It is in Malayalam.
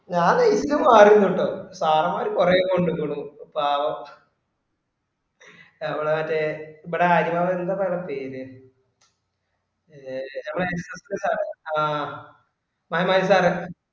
ഞാൻ just മാറിന്നുട്ടോ sir മാര് കൊറെ കൊണ്ടുക്കുണു പാവം നമ്മളെ മറ്റെ ഇബടെ അടി വാങ്‌യെ എന്ത ഇപ്പൊ അയാളെ പേര് മേ ആ ആ